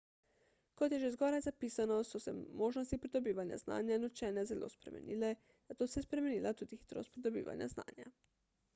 kot je že zgoraj zapisano so se možnosti pridobivanja znanja in učenja zelo spremenile zato se je spremenila tudi hitrost pridobivanja znanja